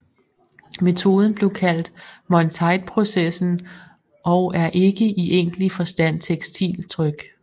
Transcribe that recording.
Metoden blev kaldt Monteithprocessen og er ikke i egentlig forstand tekstiltryk